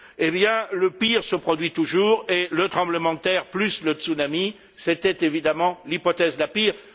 Eh bien, le pire se produit toujours, le tremblement de terre plus le tsunami, c'était évidemment l'hypothèse la pire.